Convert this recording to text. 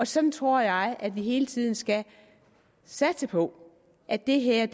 sådan tror jeg at vi hele tiden skal satse på at det her